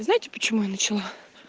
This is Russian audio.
вы знаете почему я начала